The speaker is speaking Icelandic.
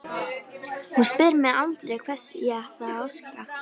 Hún spyr mig aldrei hvers ég ætli að óska mér.